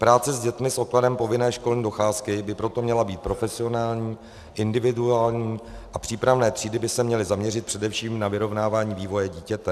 Práce s dětmi s odkladem povinné školní docházky by proto měla být profesionální, individuální a přípravné třídy by se měly zaměřit především na vyrovnávání vývoje dítěte.